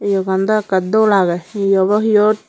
yougan do ekkey dol agey hi obo iyot.